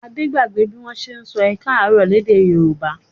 Adé gbàgbé bí wọ́n ṣe sọ ẹ káàárọ̀ lédè Yorùbá.